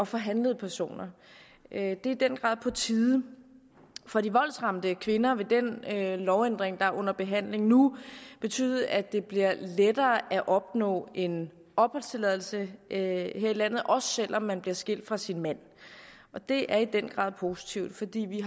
for handlede personer det er i den grad på tide for de voldsramte kvinder vil den lovændring der er under behandling nu betyde at det bliver lettere at opnå en opholdstilladelse her i landet også selv om man bliver skilt fra sin mand det er i den grad positivt fordi vi